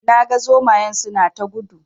Na ga zomayen suna ta gudu